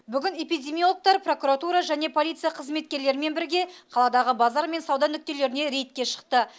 бүгін эпидемиологтар прокуратура және полиция қызметкерлерімен бірге қаладағы базар мен сауда нүктелеріне рейдке шықты